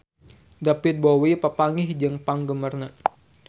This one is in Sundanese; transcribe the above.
David Bowie papanggih jeung penggemarna